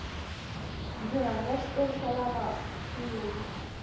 ndzi rhandza xitori xa lava nkulu